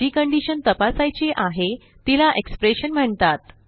जी condition तपासायची आहे तिला एक्सप्रेशन म्हणतात